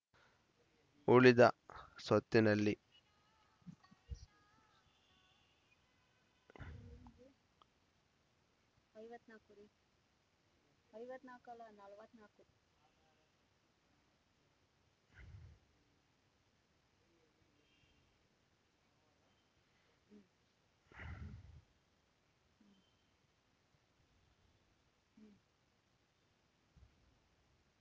ಉಳಿದ ಸ್ವತ್ತಿನಲ್ಲಿ